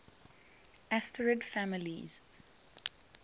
asterid families